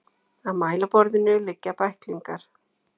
Á mælaborðinu liggja bæklingar.